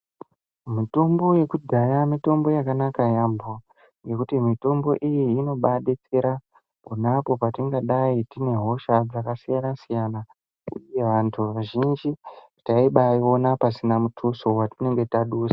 Mitombo yekudhaya mitombo yakanaka yaambo. Ngekuti mitombo iyi inobaadetsera pona apo petingadai tinehosha dzakasiyana-siyana. Antu azhinji taibaaiona pasina muthuso watinenge tadusa.